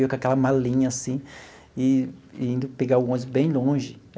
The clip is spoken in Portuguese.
Eu com aquela malinha assim e indo pegar o ônibus bem longe.